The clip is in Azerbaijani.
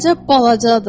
Əcəb balacadır.